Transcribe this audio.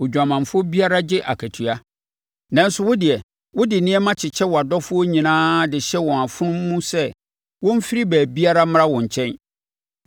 Odwamanfoɔ biara gye akatua, nanso wodeɛ, wode nneɛma kyekyɛ wʼadɔfoɔ nyinaa de hyɛ wɔn afono mu sɛ, wɔmfiri baabiara mmra wo nkyɛn.